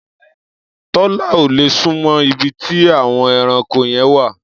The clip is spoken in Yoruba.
Tọ́lá ò lè súnmọ́ ibi tí àwọn ẹranko yẹn wà.